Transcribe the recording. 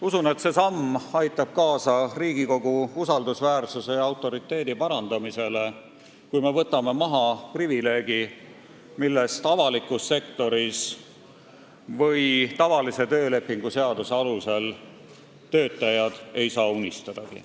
Usun, et Riigikogu usaldusväärsuse ja autoriteedi parandamisele aitab kaasa see, kui me võtame maha privileegi, millest avalikus sektoris või tavalise töölepingu seaduse alusel töötajad ei saa unistadagi.